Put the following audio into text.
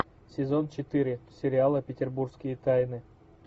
сезон четыре сериала петербургские тайны